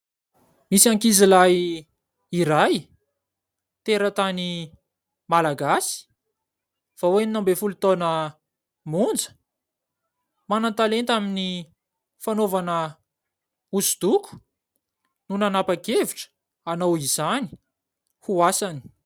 Misy ankizilahy iray teratany malagasy vao enina ambin'ny folo taona monja ; manan-talenta amin'ny fanaovana hosodoko ; no nanapa-kevitra hanao izany ho asany.